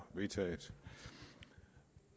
vedtaget